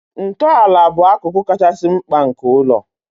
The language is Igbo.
Ntọala bụ akụkụ kachasị mkpa nke ụlọ